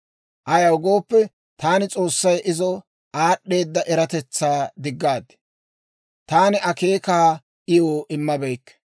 Ayaw gooppe, taani S'oossay izo aad'd'eeda eratetsaa diggaad; taani akeekaakka iw immabeykke.